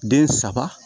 Den saba